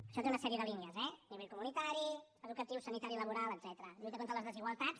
això té una sèrie de línies eh nivell comunitari educatiu sanitari laboral etcètera lluita contra les desigualtats